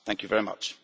Thank you very much.